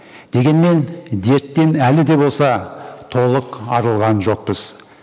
дегенмен дерттен әлі де болса толық арылған жоқпыз